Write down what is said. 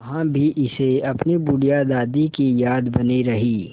वहाँ भी इसे अपनी बुढ़िया दादी की याद बनी रही